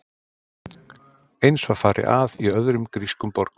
Eins var farið að í öðrum grískum borgum.